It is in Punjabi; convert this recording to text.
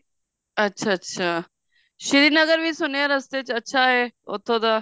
ਅੱਛਾ ਅੱਛਾ ਸ਼੍ਰੀ ਨਗਰ ਵੀ ਰਸਤੇ ਚ ਅੱਛਾ ਹੈ ਉੱਥੋਂ ਦਾ